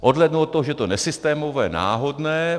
Odhlédnu od toho, že je nesystémové, náhodné.